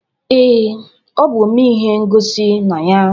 Ee, ọ bụ omee ihe ngosi na ya.